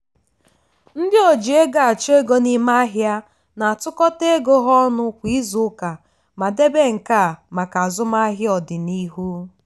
ndị oji ego achọ ego n'ime ahịa na-atụkọta ego ha ọnụ kwa izuuka ma debe nke a maka azụmahịa ọdịnihu.